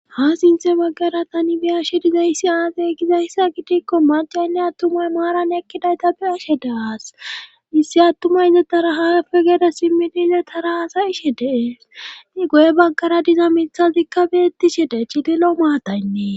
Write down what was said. Ha sinthe baggara tani biyashe dizayssi aadey gizayssa gitikko macaynne attumay maaran ekkidayta biashe daas issi attumay izetara haafe geede simmidile tara hasayishe deei goye baggara diza mithazikka beettishe de chidilo maataynnee.